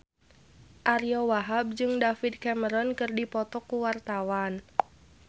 Ariyo Wahab jeung David Cameron keur dipoto ku wartawan